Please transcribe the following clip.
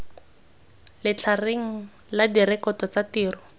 letlhareng la direkoto tsa tiro